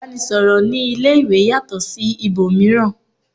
ìbánisọ̀rọ̀ ní ilé ìwé yàtọ̀ sí ibòmíràn